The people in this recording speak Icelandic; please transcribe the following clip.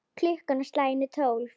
Klukkan á slaginu tólf.